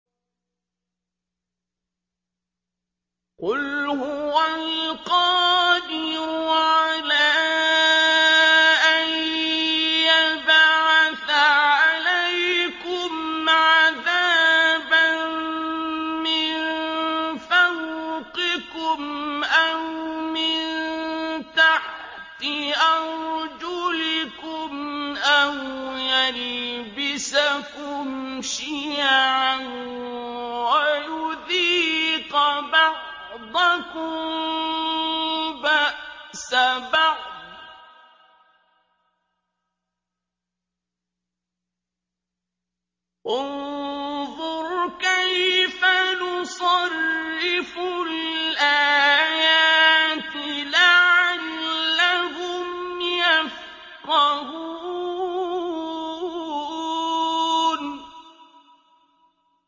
قُلْ هُوَ الْقَادِرُ عَلَىٰ أَن يَبْعَثَ عَلَيْكُمْ عَذَابًا مِّن فَوْقِكُمْ أَوْ مِن تَحْتِ أَرْجُلِكُمْ أَوْ يَلْبِسَكُمْ شِيَعًا وَيُذِيقَ بَعْضَكُم بَأْسَ بَعْضٍ ۗ انظُرْ كَيْفَ نُصَرِّفُ الْآيَاتِ لَعَلَّهُمْ يَفْقَهُونَ